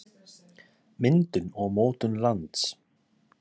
Myndun og mótun lands.